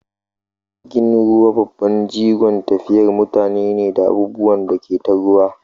Jirgin ruwa babban jigon tafiyar mutane ne da abubuwan da ke ta ruwa.